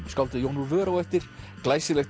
skáldið Jón úr vör á eftir glæsilegt